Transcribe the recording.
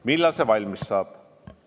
Millal see valmis saab?